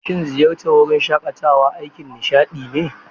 Shin ziyartar wurin shaƙatawa aikin nishaɗi ne?